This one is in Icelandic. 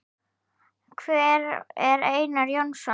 Hver er Einar Jónsson?